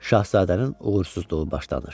Şahzadənin uğursuzluğu başlanır.